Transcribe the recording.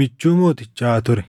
michuu mootichaa ture.